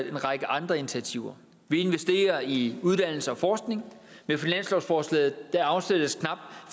en række andre initiativer vi investerer i uddannelse og forskning og med finanslovsforslaget afsættes knap